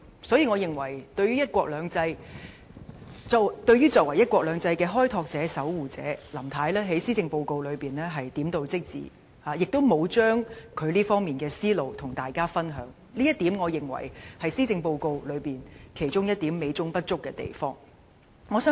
所以，對於林太作為"一國兩制"的守護者和開拓者，我認為她在施政報告中的論述只是點到即止，亦沒有把她在這方面的想法和大家分享，這是施政報告其中一點美中不足之處。